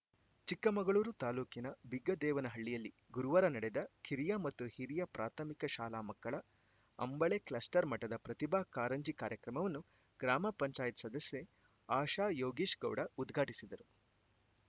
ಚಿಕ್ಕಮಗಳೂರು ತಾಲೂಕಿನ ಬಿಗ್ಗದೇವನಹಳ್ಳಿಯಲ್ಲಿ ಗುರುವಾರ ನಡೆದ ಕಿರಿಯ ಮತ್ತು ಹಿರಿಯ ಪ್ರಾಥಮಿಕ ಶಾಲಾ ಮಕ್ಕಳ ಅಂಬಳೆ ಕ್ಲಸ್ಟರ್‌ ಮಟ್ಟದ ಪ್ರತಿಭಾ ಕಾಂರಂಜಿ ಕಾರ್ಯಕ್ರಮವನ್ನು ಗ್ರಾಮ ಪಂಚಾಯತ್ ಸದಸ್ಯೆ ಆಶಾ ಯೋಗೀಶ್‌ಗೌಡ ಉದ್ಘಾಟಿಸಿದರು